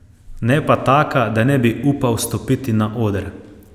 Ne pa taka, da ne bi upal stopiti na oder.